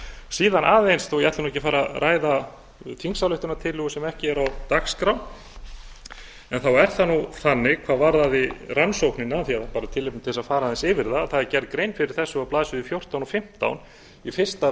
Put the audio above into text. síðan aðeins þó að ég ætli nú ekki að fara að ræða þingsályktunartillögu sem ekki er á dagskrá en þá er það nú þannig hvað varðaði rannsóknina af því að það er bara tilefni til þess að fara aðeins yfir það það er gerð grein fyrir þessu á blaðsíðu fjórtán og fimmtán í fyrsta